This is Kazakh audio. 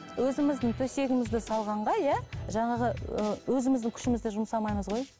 өзіміздің төсегімізді салғанға иә жаңағы ы өзіміздің күшімізді жұмсамаймыз ғой